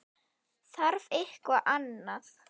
Þarf eitthvað annað?